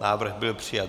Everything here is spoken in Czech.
Návrh byl přijat.